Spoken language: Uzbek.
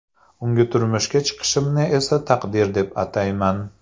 Unga turmushga chiqishimni esa taqdir deb atayman.